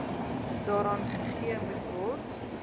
daaraan gegee moetword